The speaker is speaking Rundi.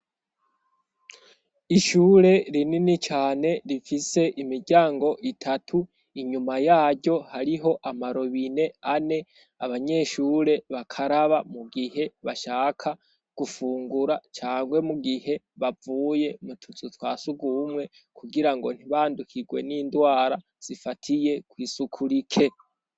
Ishure rinini cane rifise imiryango itatu inyuma yaryo hariho amarobine ane abanyeshure bakaraba mu gihe bashaka gufungura cangwe mu gihe bavuye mututu twa sugumwe kugira ngo ntibandukirwe n'induwe wara zifatiye kw'isuku rike.